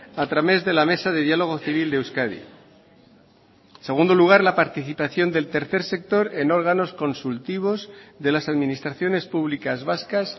a través de la mesa de diálogo civil de euskadi en segundo lugar la participación del tercer sector en órganos consultivos de las administraciones públicas vascas